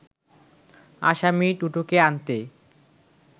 আসামী দুটোকে আনতে